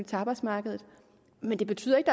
til arbejdsmarkedet men det betyder ikke